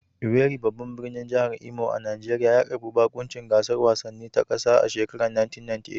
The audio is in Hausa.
Owerri, babban birnin jihar Imo a Najeriya, ya karbi baƙuncin gasar wasanni ta ƙasa a shekarar 1998